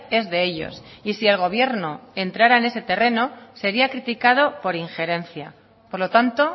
es de ellos y si el gobierno entrara en ese terreno sería criticado por injerencia por lo tanto